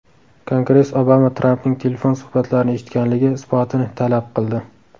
Kongress Obama Trampning telefon suhbatlarini eshitganligi isbotini talab qildi.